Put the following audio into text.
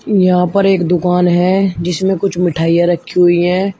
यहां पर एक दुकान है जिसमें कुछ मिठाइयां रखी हुई है।